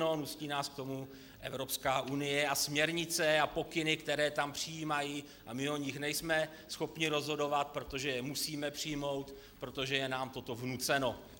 No nutí nás k tomu Evropská unie a směrnice a pokyny, které tam přijímají, a my o nich nejsme schopni rozhodovat, protože je musíme přijmout, protože je nám toto vnuceno.